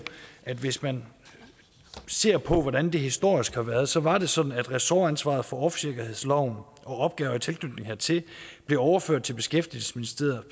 at hvis man ser på hvordan det historisk har været så var det sådan at ressortansvaret for offshoresikkerhedsloven og opgaver i tilknytning hertil blev overført til beskæftigelsesministeriet